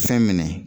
Fɛn minɛ